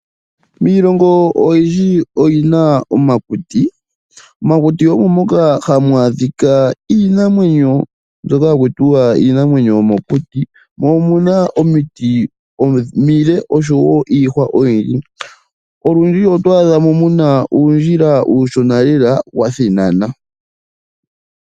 Miilongo oyindji oyi na omakuti , momakuti omo moka hamu adhika iinamwenyo mbyoka haku tiwa iinamwenyo yomokuti mo omu na omiti omile oshowo iihwa oyindji olundji otwaa dha mo muna uundjila uushona lela wa thinana.